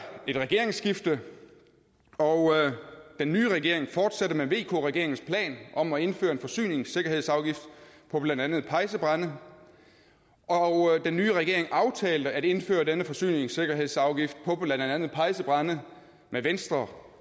et regeringsskifte og den nye regering fortsatte med vk regeringens plan om at indføre en forsyningssikkerhedsafgift på blandt andet pejsebrænde og den nye regering aftalte at indføre denne forsyningssikkerhedsafgift på blandt andet pejsebrænde med venstre